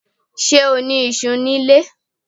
Ṣé o ní iṣú ní ilé?